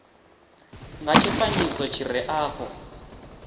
nga tshifanyiso tshi re afho